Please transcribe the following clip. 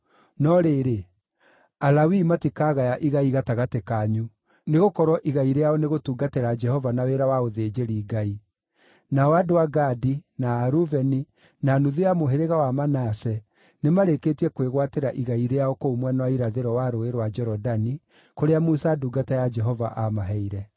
No rĩrĩ, Alawii matikagaya igai gatagatĩ kanyu, nĩgũkorwo igai rĩao nĩ gũtungatĩra Jehova na wĩra wa ũthĩnjĩri-Ngai. Nao andũ a Gadi, na a Rubeni, na nuthu ya mũhĩrĩga wa Manase nĩmarĩkĩtie kwĩgwatĩra igai rĩao kũu mwena wa irathĩro wa Rũũĩ rwa Jorodani, kũrĩa Musa ndungata ya Jehova aamaheire.”